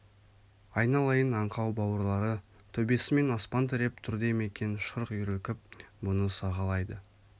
айналайын аңқау бауырлары төбесімен аспан тіреп тұр дей ме екен шырқ үйірілкп бұны сағалайды